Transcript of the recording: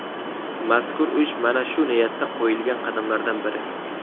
Mazkur ish mana shu niyatda qo‘yilgan qadamlardan biri.